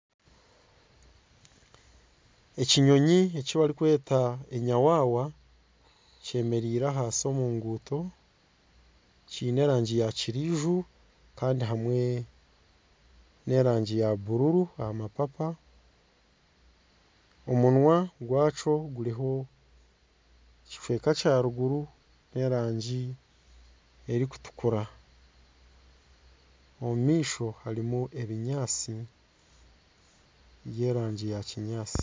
Ekinyonyi ekibarikweta enyawawa kyemereire ahansi omu nguuto kyine erangi ya kirinju kandi hamwe n'erangi ya buruuru aha mapapa, omunwa gwakyo guriho ekicweka ky'eruguru ky'erangi erikutukura omumaisho harimu ebinyaatsi by'erangi ya kinyaatsi.